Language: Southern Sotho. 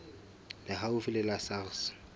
le haufi le la sars